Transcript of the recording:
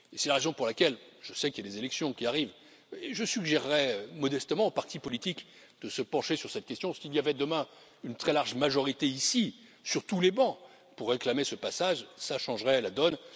C'est la raison pour laquelle je sais qu'il y a des élections qui arrivent je suggérerais modestement aux partis politiques de se pencher sur cette question s'il y avait demain une très large majorité, ici, sur tous les bancs, pour réclamer ce passage, cela changerait la donne.